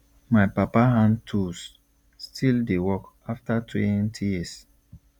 my papa hand tools still dey work after twenty years